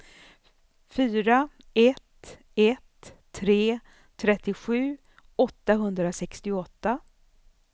fyra ett ett tre trettiosju åttahundrasextioåtta